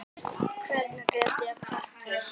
Hvernig get ég kvatt þig?